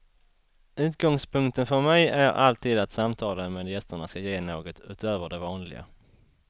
Utgångspunkten för mig är alltid att samtalen med gästerna skall ge något utöver det vanliga.